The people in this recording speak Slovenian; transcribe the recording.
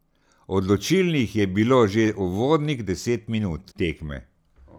Odločilnih je bilo že uvodnih deset minut tekme.